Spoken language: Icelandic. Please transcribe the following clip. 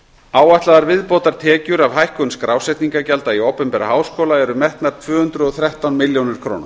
áætlaðar viðbótartekjur af hækkun skrásetningargjalda í opinbera háskóla eru metnar tvö hundruð og þrettán milljónir króna